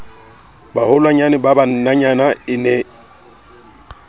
baholwanyane ba bananyana e ne